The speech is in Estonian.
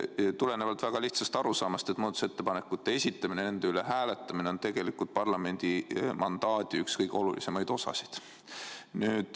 Seda tulenevalt väga lihtsast arusaamast, et muudatusettepanekute esitamine, nende hääletamine on tegelikult parlamendiliikme mandaadi üks kõige olulisemaid osasid.